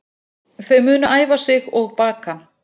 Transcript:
Þau munu æfa sig og baka